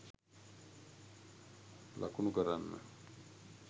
ලකුණු කරන්න.